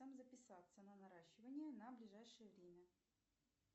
записаться на наращивание на ближайшее время